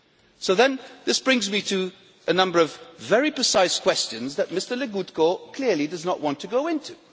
So, then, this brings me to a number of very precise questions that Mr Legutko clearly does not want to go into.